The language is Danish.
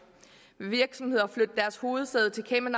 vil virksomheder flytte deres hovedsæde til cayman